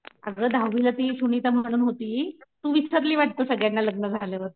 अगं दहावीला ती सुनीता म्हणून होती तू विसरली वाटतं सगळ्यांना लग्न झाल्यावर